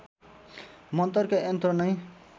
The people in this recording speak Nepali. मन्तरका यन्त्र नै